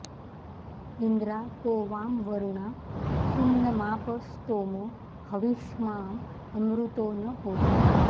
इन्द्रा को वां वरुणा सुम्नमाप स्तोमो हविष्माँ अमृतो न होता